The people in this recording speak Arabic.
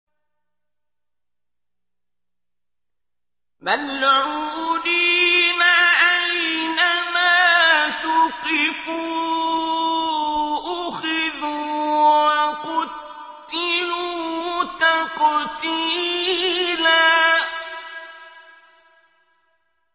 مَّلْعُونِينَ ۖ أَيْنَمَا ثُقِفُوا أُخِذُوا وَقُتِّلُوا تَقْتِيلًا